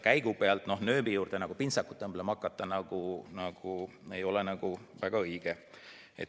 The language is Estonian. Käigu pealt nööbi külge pintsakut õmblema hakata ei ole väga õige.